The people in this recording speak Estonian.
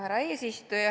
Härra eesistuja!